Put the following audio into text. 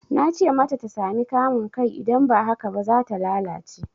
Na ce mata ta sami kamun kai idan ba haka ba, za ta lalace.